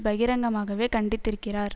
பகிரங்கமாகவே கண்டித்திருக்கிறார்